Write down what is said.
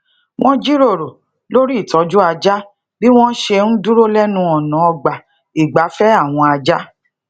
wón jiroro lori itoju aja bí wón ṣe n duro lenu ọnà ogba igbafe àwọn aja